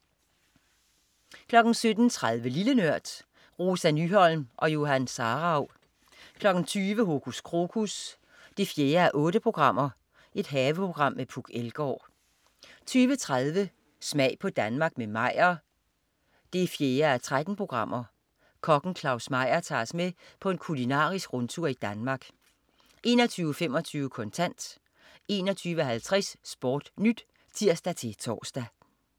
17.30 Lille Nørd. Rosa Nyholm og Johan Sarauw 20.00 Hokus Krokus 4:8. Haveprogram med Puk Elgård 20.30 Smag på Danmark med Meyer 4:13. Kokken Claus Meyer tager os med på en kulinarisk rundtur i Danmark 21.25 Kontant 21.50 SportNyt (tirs-tors)